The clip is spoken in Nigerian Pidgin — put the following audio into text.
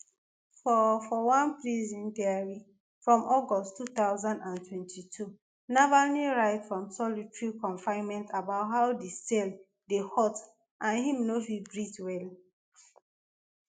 for for one prison diary from august two thousand and twenty-two navalny write from solitary confinement about how di cell dey hot and im no fit breathe well